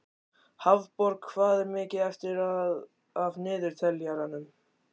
Hafborg, hvað er mikið eftir af niðurteljaranum?